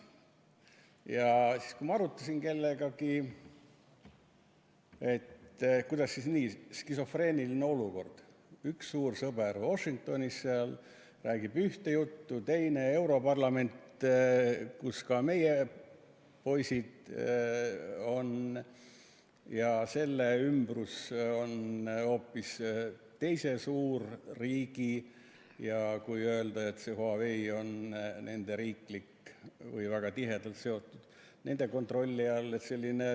Ja siis ma arutasin kellegagi ja uurisin, kuidas siis nii skisofreeniline olukord on: üks suur sõber Washingtonis räägib ühte juttu, aga teine, europarlament, kus ka meie poisid on, ja selle ümbrus on hoopis teise suurriigi, kui võib öelda, kontrolli all, sest Huawei on nendega väga tihedalt seotud, nende kontrolli all.